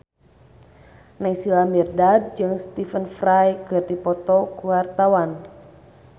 Naysila Mirdad jeung Stephen Fry keur dipoto ku wartawan